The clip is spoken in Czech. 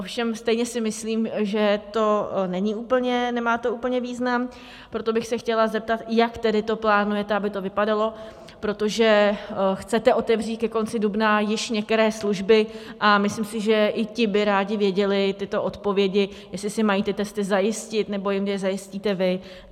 Ovšem stejně si myslím, že to nemá úplně význam, proto bych se chtěla zeptat: Jak tedy to plánujete, aby to vypadalo, protože chcete otevřít ke konci dubna již některé služby, a myslím si, že i ti by rádi věděli tyto odpovědi, jestli si mají ty testy zajistit, nebo jim je zajistíte vy.